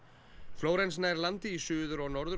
florence nær landi í Suður og Norður